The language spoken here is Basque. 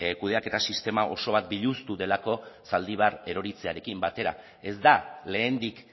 kudeaketa sistema oso bat biluztu delako zaldibar erortzearekin batera ez da lehendik